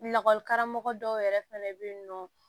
Lakɔlikaramɔgɔ dɔw yɛrɛ fɛnɛ bɛ yen nɔ